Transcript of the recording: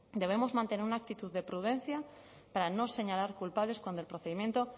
debemos mantener una actitud de prudencia para no señalar culpables cuando el procedimiento